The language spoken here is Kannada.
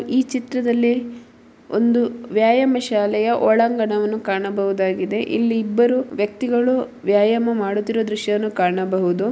ಈ ಚಿತ್ರದಲ್ಲಿ ಒಂದು ವ್ಯಾಯಾಂ ಶಾಲೆಯ ಒಳಾಂಗಣವನ್ನು ಕಾಣಬಹುದಾಗಿದೆ. ಇಲ್ಲಿ ಇಬ್ಬರು ವ್ಯಕ್ತಿಗಳು ವ್ಯಾಯಾಮ ಮಾಡುತ್ತಿರುವ ದೃಶ್ಯವನ್ನು ಕಾಣಬಹುದು.